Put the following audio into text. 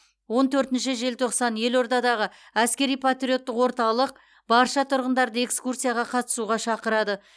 он төртінші желтоқсан елордадағы әскери патриоттық орталық барша тұрғындарды экскурсияға қатысуға шақырады